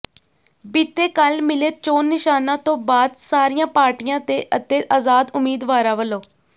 ਬੀਤੇ ਕੱਲ੍ਹ ਮਿਲੇ ਚੋਣ ਨਿਸ਼ਾਨਾਂ ਤੋਂ ਬਾਅਦ ਸਾਰੀਆਂ ਪਾਰਟੀਆਂ ਦੇ ਅਤੇ ਆਜ਼ਾਦ ਉਮੀਦਵਾਰਾਂ ਵਲੋ